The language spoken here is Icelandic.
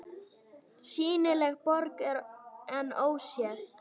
SÝNILEG BORG EN ÓSÉÐ